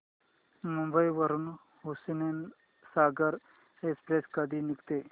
मुंबई वरून हुसेनसागर एक्सप्रेस कधी निघते